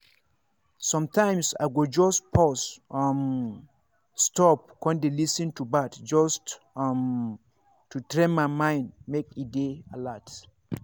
sometimes i go just pause um stop con dey lis ten to birds just um to train my mind make e dey alert.